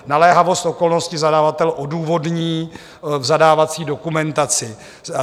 Naléhavost okolnosti zadavatel odůvodní v zadávací dokumentaci.